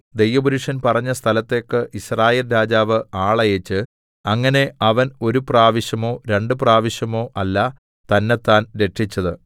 ദൈവപുരുഷൻ പറഞ്ഞ സ്ഥലത്തേക്ക് യിസ്രായേൽ രാജാവ് ആളയച്ച് അങ്ങനെ അവൻ ഒരു പ്രാവശ്യമോ രണ്ടു പ്രാവശ്യമോ അല്ല തന്നെത്താൻ രക്ഷിച്ചത്